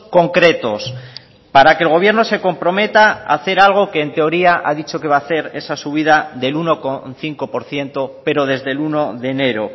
concretos para que el gobierno se comprometa a hacer algo que en teoría ha dicho que va a hacer esa subida del uno coma cinco por ciento pero desde el uno de enero